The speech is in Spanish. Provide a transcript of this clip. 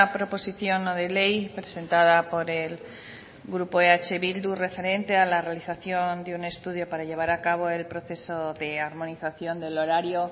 proposición no de ley presentada por el grupo eh bildu referente a la realización de un estudio para llevar a cabo el proceso de armonización del horario